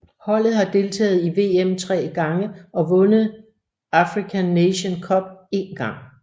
Holdet har deltaget i VM 3 gange og vundet African Nations Cup en gang